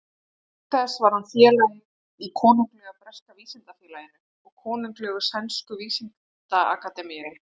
Auk þess var hann félagi í Konunglega breska vísindafélaginu og Konunglegu sænsku vísindaakademíunni.